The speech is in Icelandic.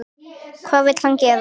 Hvað vill hann gera?